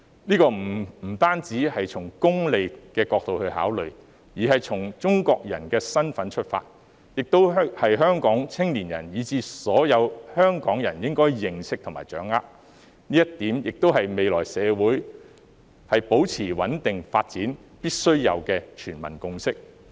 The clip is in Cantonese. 這不僅是從功利的角度來考慮，而是從中國人的身份出發，亦是香港青年人，以至所有香港人應該認識和掌握的，這點亦是未來社會保持穩定發展必須有的全民共識。